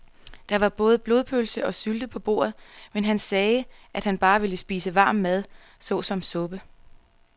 Der var både blodpølse og sylte på bordet, men han sagde, at han bare ville spise varm mad såsom suppe.